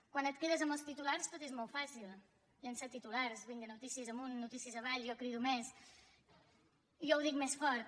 quan et quedes amb els titulars tot és molt fàcil llançar titulars vinga notícies amunt notícies avall jo crido més jo ho dic més fort